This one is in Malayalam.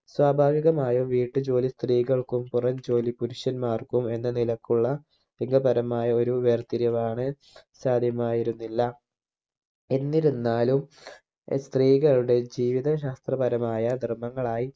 സ്വഭാവികമായും വീട്ടു ജോലി സ്ത്രീകൾക്കും പുറം ജോലി പുരുഷന്മാർക്കും എന്ന നിലക്കുള്ള ലിംഗപരമായ ഒരു വേർതിരിവാണ് സാധ്യമായിരുന്നില്ല എന്നിരുന്നാലും സ്ത്രീകളുടെ ജീവിത ശാസ്ത്രപരമായ നിർഭങ്ങളായി